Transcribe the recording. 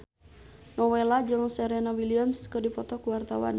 Nowela jeung Serena Williams keur dipoto ku wartawan